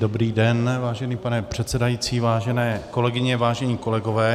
Dobrý den, vážený pane předsedající, vážené kolegyně, vážení kolegové.